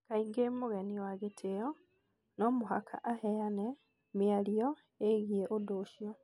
Kaingĩ mũgeni wa gĩtio no mũhaka aheane mĩario ĩgĩrĩ ũndũ ũcio.